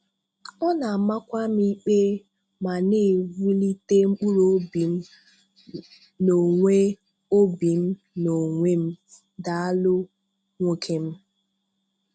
Ọ̀ na-àmàkwà m ikpé ma na-ewùlìtè mkpụrụ obi m n’onwe obi m n’onwe m. Dàalụ, nwoké m.